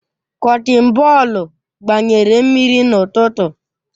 Kọtin bọọlụ gbanyere mmiri n'ụtụtụ